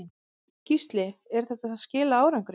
Gísli: En þetta skilar árangri?